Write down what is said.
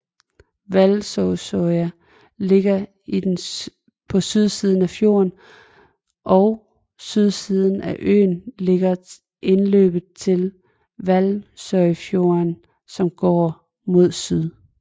Valsøya ligger på sydsiden af fjorden og på sydsiden af øen ligger indløbet til Valsøyfjorden som går mod syd